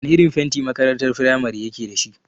Wana irin fenti makarantar firamare yake dashi?